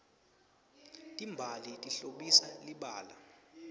timbali tihlobisa libala